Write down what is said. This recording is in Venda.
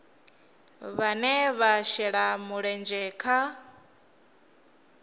vhane vha shela mulenzhe kha